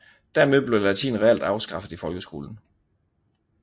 Dermed blev latin reelt afskaffet i folkeskolen